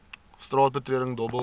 straat betreding dobbel